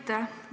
Aitäh!